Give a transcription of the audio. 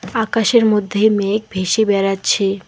আকাশের মধ্যে মেঘ ভেসে বেড়াচ্ছে।